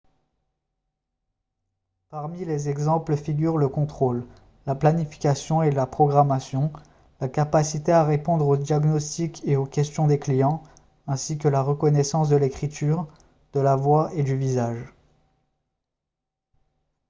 parmi les exemples figurent le contrôle la planification et la programmation la capacité à répondre aux diagnostics et aux questions des clients ainsi que la reconnaissance de l'écriture de la voix et du visage